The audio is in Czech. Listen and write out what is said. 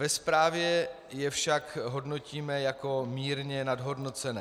Ve zprávě je však hodnotíme jako mírně nadhodnocené.